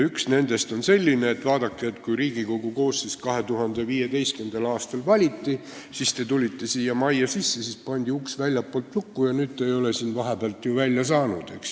Üks nendest on selline, et vaadake, kui Riigikogu koosseis 2015. aastal valiti, siis te tulite siia majja sisse, uks pandi väljastpoolt lukku ja te ei ole siit vahepeal ju välja saanud.